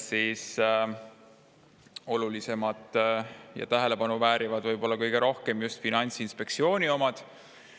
Olulisemad ja kõige rohkem tähelepanu väärivad võib-olla just Finantsinspektsiooni omad.